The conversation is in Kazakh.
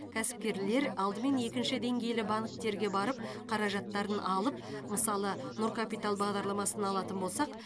кәсіпкерлер алдымен екінші деңгейлі банктерге барып қаражаттарын алып мысалы нұр капитал бағдарламасын алатын болсақ